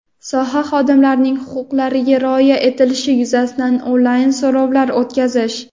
soha xodimlarining huquqlariga rioya etilishi yuzasidan onlayn so‘rovlar o‘tkazish;.